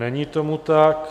Není tomu tak.